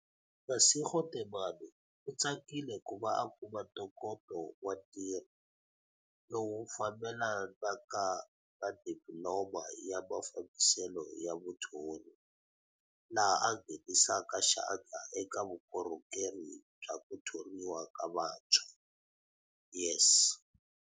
Masego Temane u tsakile ku va a kuma ntokoto wa ntirho, lowu wu fambelanaka na Dipililoma ya Ma fambiselo ya Vuthori, laha a nghenisaka xandla eka Vukorhokeri bya ku Thoriwa ka Vantshwa, YES.